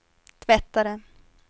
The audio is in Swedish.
tvättare